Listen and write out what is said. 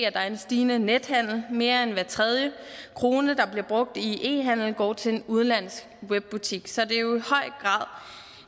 at der er en stigende nethandel mere end hver tredje krone der bliver brugt i e handel går til en udenlandsk webbutik så